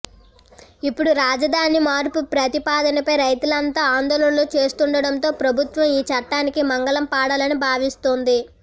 ఇప్పుడు రాజదాని మార్పు ప్రతిపాదనపై రైతులంతా ఆందోళనలు చేస్తుండడంతో ప్రభుత్వం ఈచట్టానికి మంగళం పాడాలని భావిస్తోంది